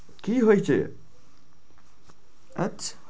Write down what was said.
কি হয়েছে? আচ্ছা।